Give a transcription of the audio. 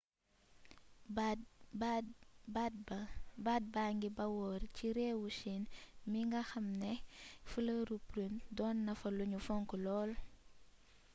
baat baa ngi bawoo ci réewum chine mingi nga xam ni flëri prune doon nafa luñu fonk lool